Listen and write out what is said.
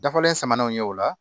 Dafalen samaninw ye o la